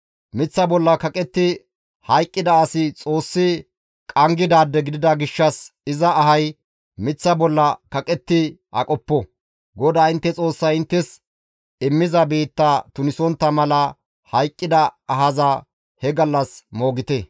miththa bolla kaqetti hayqqida asi Xoossi qanggidaade gidida gishshas iza ahay miththa bolla kaqetti aqopo; GODAA intte Xoossay inttes immiza biitta tunisontta mala hayqqida ahaza he gallas moogite.